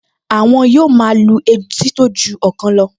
Àwọn yóò máa lu etí tó ju ọ̀kan lọ